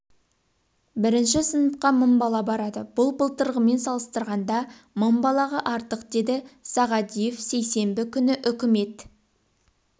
бірінші сыныпқа мың бала барады бұл былтырғымен салыстырғанда мың балаға артық деді сағадиев сейсенбі күні үкімет